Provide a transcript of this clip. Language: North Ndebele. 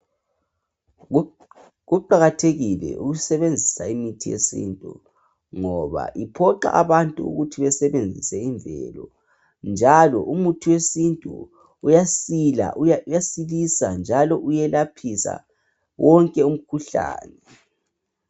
Kuqakathekile ukusebenzisa imithi yesintu ngoba iphoxa abantu ukuthi besebenzise imvelo njalo umuthi wesintu uyasilisa njalo uyelaphisa wonke umkhuhlane.